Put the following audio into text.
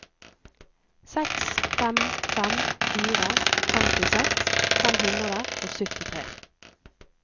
seks fem fem fire femtiseks fem hundre og syttitre